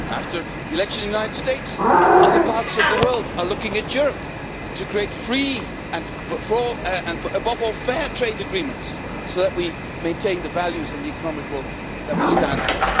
After the election in the United States, other parts of the world are looking to Europe to create free and, above all, fair trade agreements so that we maintain the values and economic growth that we stand for.